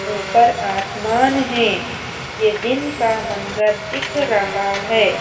ऊपर आसमान है यह दिन का मंजर दिख रहा है।